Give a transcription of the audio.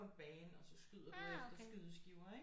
En bane og så skyder du efter skydeskiver ikke